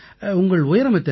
உங்கள் உயரம் எத்தனை